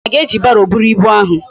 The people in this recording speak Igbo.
Chisom a ga eji barrow buru ibu ahu?